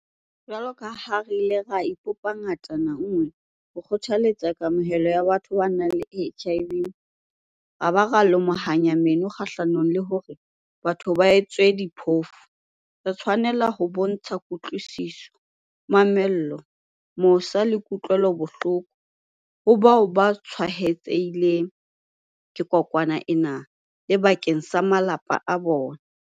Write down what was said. Jwaloka ha re ile ra ipopa ngatana nngwe ho kgothaletsa kamohelo ya batho ba nang le HIV ra ba ra lomahanya meno kgahlanong le hore batho ba etswe diphofu, re tshwanela ho bontsha kutlwisiso, mamello, mosa le kutlwelano bohloko ho bao ba tshwaetsehileng ke kokwanahloko ena le bakeng sa malapa a bona.